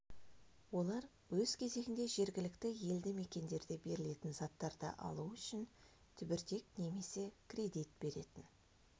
олар өз кезегінде жергілікті елді мекендерде берілетін заттарды алу үшін түбіртек немесе кредит беретін